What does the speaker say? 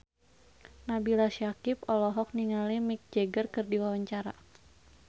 Nabila Syakieb olohok ningali Mick Jagger keur diwawancara